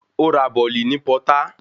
Ó ra bọ̀lì ní pọtá